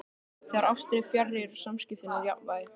Þegar ástin er fjarri eru samskiptin úr jafnvægi.